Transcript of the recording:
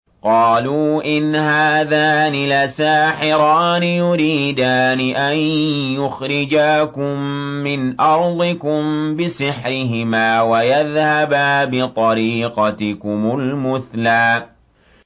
قَالُوا إِنْ هَٰذَانِ لَسَاحِرَانِ يُرِيدَانِ أَن يُخْرِجَاكُم مِّنْ أَرْضِكُم بِسِحْرِهِمَا وَيَذْهَبَا بِطَرِيقَتِكُمُ الْمُثْلَىٰ